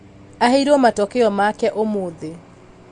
aheirwo matokeo make ũmũthĩ